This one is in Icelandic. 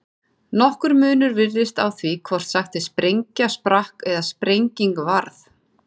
Nokkur munur virðist á því hvort sagt er sprengja sprakk eða sprenging varð.